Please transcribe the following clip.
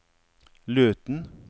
Løten